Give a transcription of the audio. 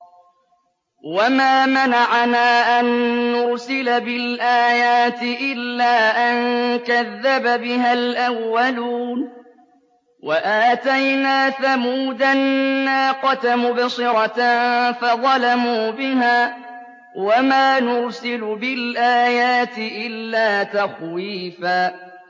وَمَا مَنَعَنَا أَن نُّرْسِلَ بِالْآيَاتِ إِلَّا أَن كَذَّبَ بِهَا الْأَوَّلُونَ ۚ وَآتَيْنَا ثَمُودَ النَّاقَةَ مُبْصِرَةً فَظَلَمُوا بِهَا ۚ وَمَا نُرْسِلُ بِالْآيَاتِ إِلَّا تَخْوِيفًا